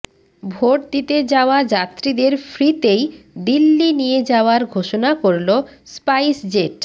vote দিতে যাওয়া যাত্রীদের ফ্রিতেই দিল্লি নিয়ে যাওয়ার ঘোষণা করল স্পাইসজেট